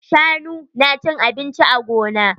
Shanu na cin abinci a gona.